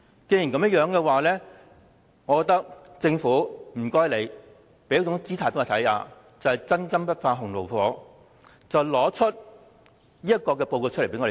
如果有，請政府向公眾擺出姿態，證明"真金不怕洪爐火"，交出報告供議員查閱。